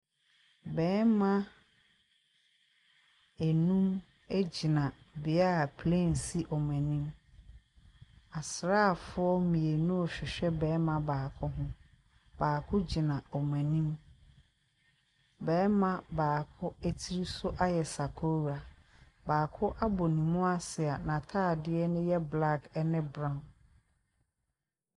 Barima nnum gyina bea a plane si wɔn anim. Asraafo mmienu rehwehwɛ barima baako ho. Baako gyina wɔn anim. Barima baako tiri so ayɛ sakora, baako abɔ ne mu ase a n’ataadeɛ ne yɛ black ne brown.